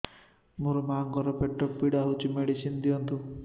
ମୋ ମାଆଙ୍କର ପେଟ ପୀଡା ହଉଛି ମେଡିସିନ ଦିଅନ୍ତୁ